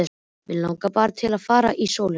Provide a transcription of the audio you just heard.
Mig langar bara til að fara út í sólina.